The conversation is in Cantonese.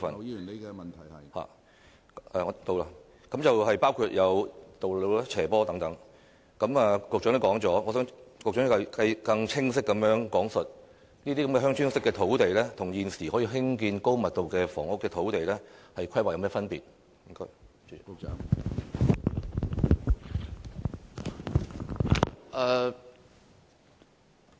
雖然局長已經回答過這方面的問題，但我想局長更清晰講述這些作"鄉村式發展"的土地，與現時可以興建高密度房屋的土地，在規劃上有何分別？